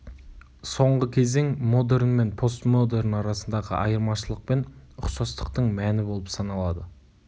соңғы кезең модерн мен постмодерн арасындағы айырмашылық пен ұқсастықтың мәні болып саналады